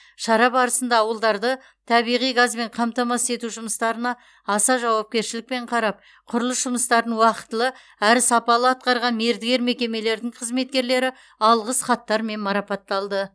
шара барысында ауылдарды табиғи газбен қамтамасыз ету жұмыстарына аса жауапкершілікпен қарап құрылыс жұмыстарын уақытылы әрі сапалы атқарған мердігер мекемелердің қызметкерлері алғыс хаттармен марапатталды